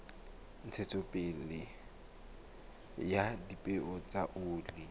ntshetsopele ya dipeo tsa oli